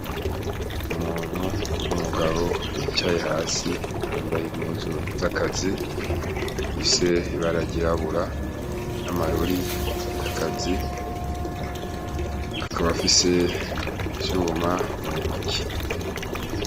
Umuntu w'umugabo yicaye hasi ,yambaye impuzu z'akazi ifise ibara ryirabura n’amarori y’akazi, akab’afise icuma mu ntoki.